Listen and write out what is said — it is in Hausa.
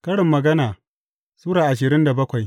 Karin Magana Sura ashirin da bakwai